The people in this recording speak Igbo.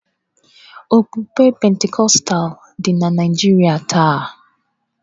Okpukpe Pentikọstal dị na Naịjirịa taa